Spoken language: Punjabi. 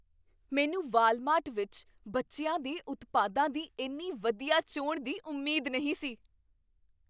ਮੈਨੂੰ ਵਾਲਮਾਰਟ ਵਿੱਚ ਬੱਚਿਆਂ ਦੇ ਉਤਪਾਦਾਂ ਦੀ ਇੰਨੀ ਵਧੀਆ ਚੋਣ ਦੀ ਉਮੀਦ ਨਹੀਂ ਸੀ।